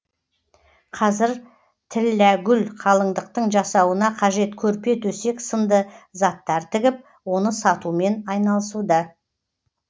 қазір тілләгүл қалыңдықтың жасауына қажет көрпе төсек сынды заттар тігіп оны сатумен айналысуда